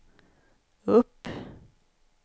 upp